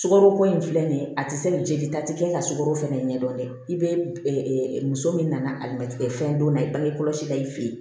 Sukaro ko in filɛ nin ye a ti se ka jelita kɛ ka sukaro fɛnɛ ɲɛ dɔn dɛ i be muso min nana alimɛtikɛ fɛn donna i bagi kɔlɔsi la i fe yen